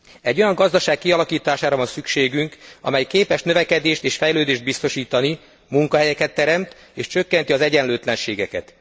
Egy olyan gazdaság kialakítására van szükségünk, amely képes növekedést és fejlődést biztosítani, munkahelyeket teremt és csökkenti az egyenlőtlenségeket.